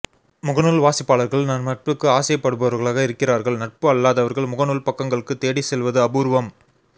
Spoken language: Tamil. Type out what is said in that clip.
முகநூல் வாசிப்பாளர்கள் நம் நட்புக்கு ஆசைப் படுபவர்களாக இருக்கிறார்கள்நட்பு அல்லாதவர்கள்ன் முகநூல் பக்கங்களுக்குத் தேடி செல்வது அபூர்வம்